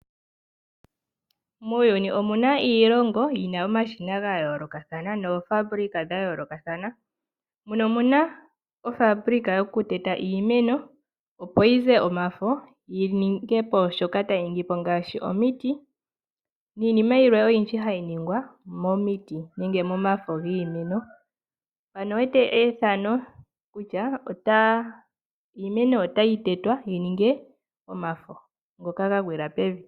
Muuyuni omuna iilongo yina omashina gayolokathana. Noofabulika dhayoolokathana. Muno omuna ofabulika yokuteta iimeno opo yize omafo yininge po shoka tayi ningi po ngaashi omiiti. Niinima oyindji hayi nigwa momiiti nenge momafo giimeno. Ano owu wete efano kutya iimeno otayi tetwa yi ninge omafo ngoka ga gwiila pevi.